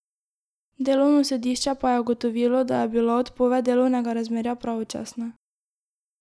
Delovno sodišče pa je ugotovilo, da je bila odpoved delovnega razmerja pravočasna.